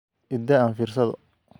I daa aan fiirsado